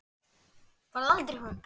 Farðu aldrei frá mér.